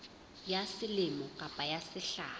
ya selemo kapa ya sehla